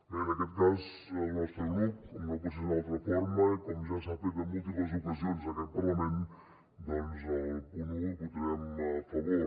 bé en aquest cas el nostre grup com no pot ser d’una altra forma i com ja s’ha fet en múltiples ocasions en aquest parlament doncs al punt un hi votarem a favor